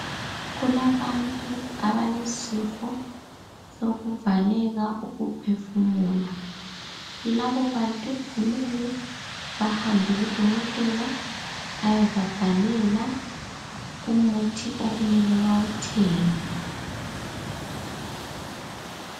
Kulabantu abalesifo sokuvaleka ukuphefumula. Labo bantu kumele bahambe kudokotela ayebabhalela umuthi okumele bawuthenge.